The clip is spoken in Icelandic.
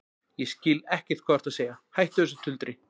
Ég skil ekkert hvað þú ert að segja, hættu þessu tuldri.